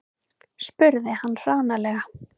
spurði hann hranalega.